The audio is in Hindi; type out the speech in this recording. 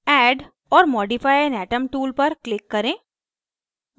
add or modify an atom tool पर click करें